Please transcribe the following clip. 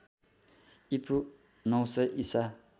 ईपू ९०० ईसा